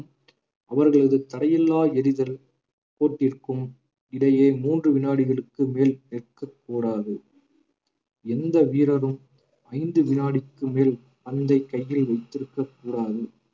அவர்களது தடையில்லா எறிதல் கோட்டிருக்கும் இடையே மூன்று வினாடிகளுக்கு மேல் நிற்கக் கூடாது எந்த வீரரும் ஐந்து வினாடிக்கு மேல் பந்தை கையில் வைத்திருக்கக் கூடாது